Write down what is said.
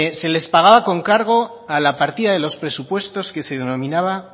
se les pagaba con cargo a la partida de los presupuestos que se denominaba